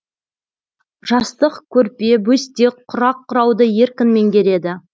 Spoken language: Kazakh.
жастық көрпе бөстек құрақ құрауды еркін меңгереді